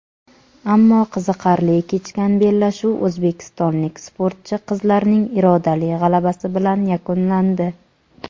ammo qiziqarli kechgan bellashuv o‘zbekistonlik sportchi qizlarning irodali g‘alabasi bilan yakunlandi.